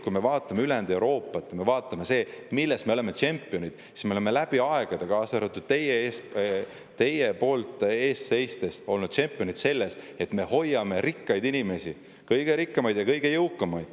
Kui me vaatame ülejäänud Euroopat ja seda, milles me oleme tšempionid, siis me oleme läbi aegade – ka teie olete selle eest seisnud – olnud tšempionid selles, et me hoiame rikkaid inimesi, kõige rikkamaid ja kõige jõukamaid.